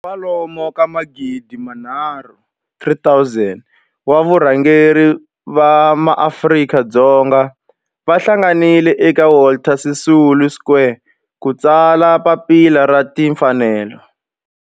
kwalomu ka magidi nharhu, 3 000 wa varhangeri va maAfrika-Dzonga va hlanganile eka Walter Sisulu Square ku ta tsala Papila ra Tinfanelo.